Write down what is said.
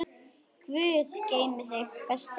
Guð geymi þig, besti minn.